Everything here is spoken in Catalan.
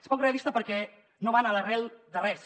és poc realista perquè no van a l’arrel de res